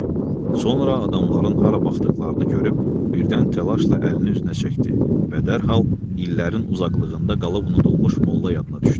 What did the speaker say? Sonra adamların hara baxdıqlarını görüb, birdən təlaşla əlini üzünə çəkdi və dərhal illərin uzaqlığında qalıb unudulmuş molla yadına düşdü.